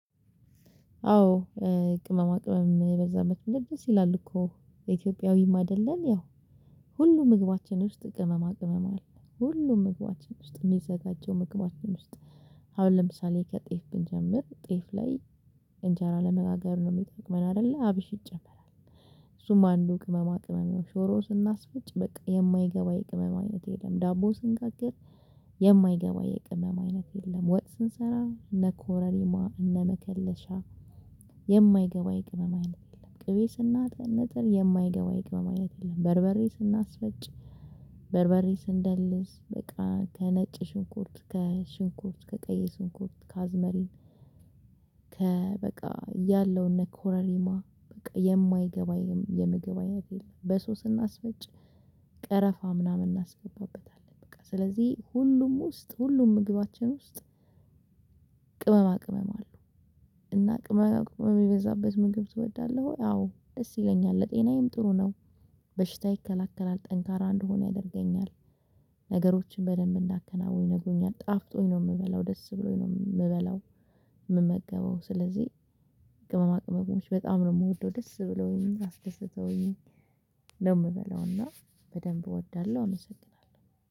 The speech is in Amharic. አዎ። ቅመማ ቅመም የበዛበት ምግብ ደስ ይላል እኮ የኢትዮጵያዊም አይደለም ያው ሁሉ ምግባችን ውስጥ ቅመማ ቅመም አለ ሁሉ ምግባችን ውስጥ የሚዘጋጀው ምግባችን ውስጥ አሁን ለምሳሌ ከጤፍ ብንጀምር ጤፍ ላይ እንጀራ ለመጋገር ነው የሚጠቅመን አይደለ አብሽ ይጨመራል። እሱም አንዱ ቅመማ ቅመም ነው ሽሮ ስናስፈጭ በቃ የማይገባ የቅመማ አይነት የለም። ዳቦ ስንጋግር የማይገባ የቅመም አይነት የለም። ወጥ ስንሰራ እነ ኮረሪማ እነ መከለሻ። የማይገባ የቅመማ አይነት የለም። ቅቤ ስናነጥር የማይገባ ይቅመም አይነት የለም። በርበሬ ስናስፈጭ በርበሬ ስንደልስ በቃ ከነጭ ሽንኩርት ከሽንኩርት ከቀይ ሽንኩርት ከአዝመሪን። ከ በቃ ያለውን እነ ኮረሪማ በቃ የማይገባ የምግብ አይነት የለም። በሶ ስናስፈጭ ቀረፋ ምናምን እናስገባበታለን። በቃ ስለዚህ ሁሉም ውስጥ ሁሉም ምግባችን ውስጥ ቅመማ ቅመም አሉ። እና ቅመማ ቅመም የበዛበት ምግብ ትወዳለህ ወይ? አዎ ደስ ይለኛል ለጤናዬም ጥሩ ነው። በሽታ ይከላከላል ጠንካራ እንደሆን ያደርገኛል። ነገሮችን በደንብ እንዳከናውን የነግሩኛል ጣፍጦኝ ነው የምበላው ደስ ብሎኝ ነው የምበላው። የምመገበው ስለዚህ ቅመማ ቅመሞች በጣም ነው የምወደው ደስ ብሎኝ አስደስተውኝ። ነው የምበለውና በደንብ እወዳለሁ እመሰግናለሁ